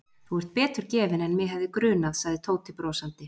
Þú ert betur gefinn en mig hefði grunað sagði Tóti brosandi.